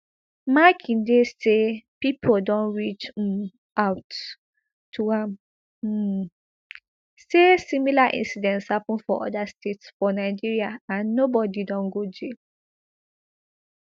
makinde say pipo don reach um out to am um say similar incidents happun for oda states for nigeria and nobody don go jail